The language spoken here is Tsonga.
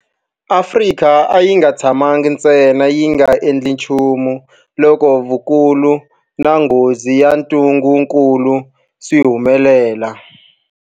Afrika a yi nga tshamangi ntsena yi nga endli nchumu loko vukulu na nghozi ya ntungukulu swi humelela.